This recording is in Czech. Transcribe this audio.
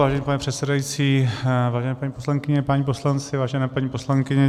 Vážený pane předsedající, vážené paní poslankyně, páni poslanci, vážená paní poslankyně.